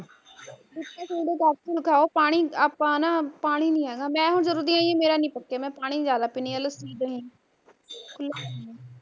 ਦੱਸ ਦਿਨ ਖਾਓ ਪਾਣੀ ਆਪਾਂ ਨਾ ਪਾਣੀ ਨੀ ਹੈਗਾ ਮੈਂ ਹੁਣ ਜਦੋਂ ਦੀ ਆਈ ਆ ਮੇਰਾ ਨੀ ਪੱਕਿਆ ਮੈਂ ਪਾਣੀ ਜਿਆਦਾ ਪੀਂਦੀ ਆ ਲੱਸੀ ਦਹੀਂ ਖੁੱਲਾ ਖਾਂਦੀ ਆ